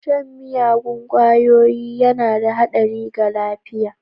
Shan miyagun ƙwayoyi yana da haɗari ga lafiya.